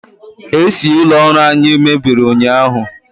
AC ụlọ ọrụ anyi mebiri ụnyahụ